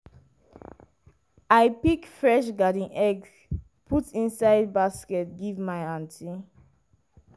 i pick fresh garden eggs put inside basket give my aunty.